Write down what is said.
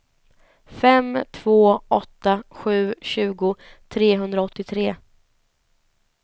fem två åtta sju tjugo trehundraåttiotre